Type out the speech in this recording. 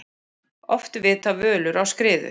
Oft vita völur á skriðu.